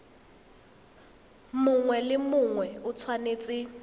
mongwe le mongwe o tshwanetse